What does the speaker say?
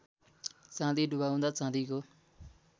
चाँदी डुबाउँदा चाँदीको